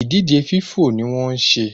Ìdíje Fífọ̀ ni wọn se